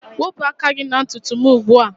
Wepụ aka gị na ntutu m ugbu a